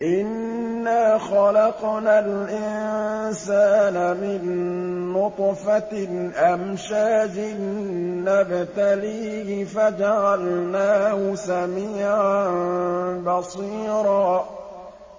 إِنَّا خَلَقْنَا الْإِنسَانَ مِن نُّطْفَةٍ أَمْشَاجٍ نَّبْتَلِيهِ فَجَعَلْنَاهُ سَمِيعًا بَصِيرًا